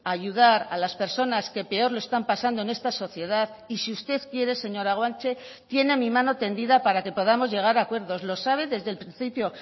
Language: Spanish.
ayudar a las personas que peor lo están pasando en esta sociedad y si usted quiere señora guanche tiene mi mano tendida para que podamos llegar a acuerdos lo sabe desde el principio